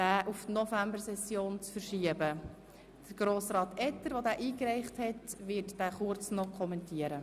Der Ordnungsantrag verlangt die Verschiebung des Traktandums 53 auf die Novembersession.